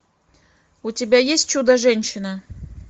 у тебя есть чудо женщина